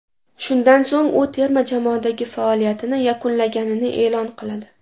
Shundan so‘ng u terma jamoadagi faoliyatini yakunlaganini e’lon qiladi.